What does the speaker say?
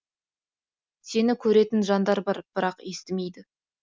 сені көретін жандар бар бірақ естімейді